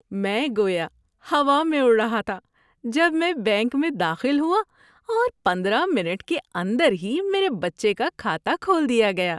میں گویا ہوا میں اڑ رہا تھا جب میں بینک میں داخل ہوا اور پندرہ منٹ کے اندر ہی میرے بچے کا کھاتہ کھول دیا گیا۔